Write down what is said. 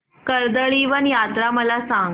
कर्दळीवन यात्रा मला सांग